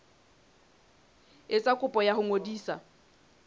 etsa kopo ya ho ngodisa